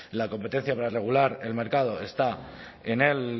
la competencia para regular el mercado está en el